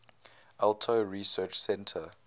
alto research center